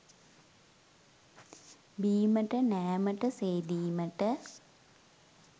බීමට නෑමට, සේදීමට